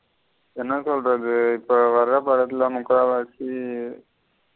என்ன சொல்லுறது இப்போ வர படத்துல முக்காவாசி.